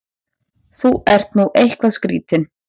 Þú ert nú eitthvað skrýtinn!